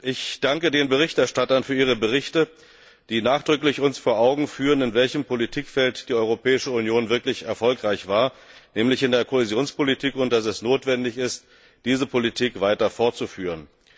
Ich danke den Berichterstattern für ihre Berichte, die uns nachdrücklich vor Augen führen, in welchem Politikfeld die Europäische Union wirklich erfolgreich war, nämlich in der Kohäsionspolitik, und dass es notwendig ist, diese Politik weiter fortzuführen.